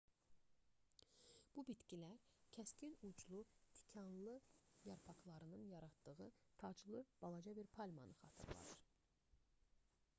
bu bitkilər kəskin uclu tikanlı yarpaqlarının yaratdığı taclı balaca bir palmanı xatırladır